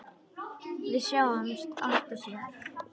Við sjáumst aftur síðar.